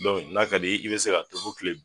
n'a ka di ye, i bi se ka kilen